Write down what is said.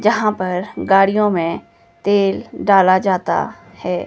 जहां पर गाड़ियों में तेल डाला जाता है।